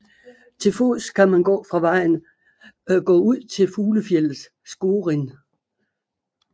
Til fods kan man fra vejen gå ud til fuglefjeldet Skorin